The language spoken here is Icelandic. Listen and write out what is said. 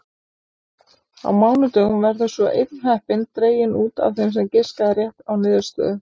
Á mánudögum verður svo einn heppinn dreginn út af þeim sem giskaði á rétta niðurstöðu.